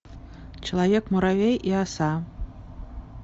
человек муравей и оса